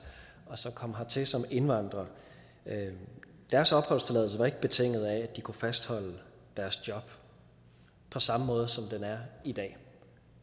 og som altså kom hertil som indvandrere at deres opholdstilladelse ikke var betinget af at de kunne fastholde deres job på samme måde som den er i dag